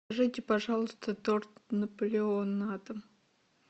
закажите пожалуйста торт наполеон на дом